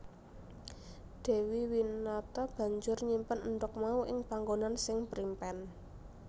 Dewi Winata banjur nyimpen endhog mau ing panggonan sing primpen